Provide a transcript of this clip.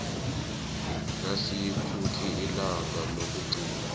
nayikuthi ilanga lokugcina